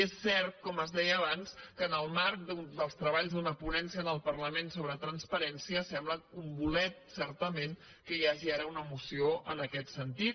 és cert com es deia abans que en el marc dels treballs d’una ponència en el parlament sobre transparències sembla un bolet certament que hi hagi ara una moció en aquest sentit